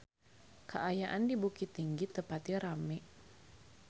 Kaayaan di Bukittinggi teu pati rame